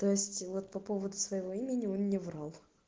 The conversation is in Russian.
то есть вот по поводу своего имени он не врёт